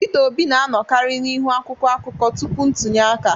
Peter Obi na-anọkarị n'ihu akwụkwọ akụkọ tupu ntunye aka